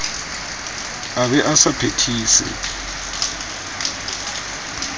a be a sa phethise